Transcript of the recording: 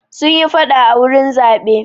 Sun yi faɗa a wurin zaɓe.